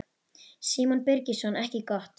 Símon Birgisson: Ekki gott?